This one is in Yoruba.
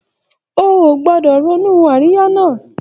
O ò gbọdọ̀ ronú àríyá náà